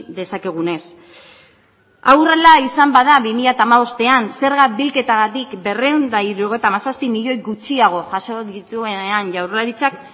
dezakegunez hau horrela izan bada bi mila hamabostean zerga bilketatik berrehun eta hirurogeita hamazazpi milioi gutxiago jaso dituenean jaurlaritzak